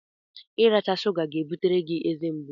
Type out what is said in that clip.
Iracha shụga ga-ebutere gị ezemgbu